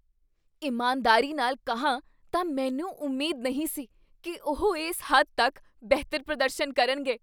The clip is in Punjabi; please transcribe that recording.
ਇਮਾਨਦਾਰੀ ਨਾਲ ਕਹਾਂ ਤਾਂ ਮੈਨੂੰ ਉਮੀਦ ਨਹੀਂ ਸੀ ਕੀ ਉਹ ਇਸ ਹੱਦ ਤੱਕ ਬਿਹਤਰ ਪ੍ਰਦਰਸ਼ਨ ਕਰਨਗੇ।